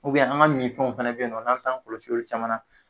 an ka min fɛnw fɛnɛ bɛ ye nɔ, n'an tan kɔlɔsi olu caman na.